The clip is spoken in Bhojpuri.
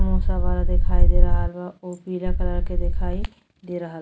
समोसा वाला दिखाई दे रहल बा उ पीला कलर के दिखाई दे रहल --